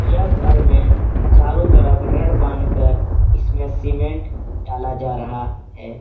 यह घर में चारों तरफ रड बांधकर इसमें सीमेंट डाला जा रहा है।